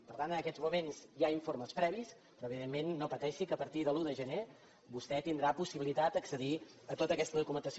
per tant en aquests moments hi ha informes previs però evidentment no pateixi que a partir de l’un de gener vostè tindrà possibilitat d’accedir a tota aquesta documentació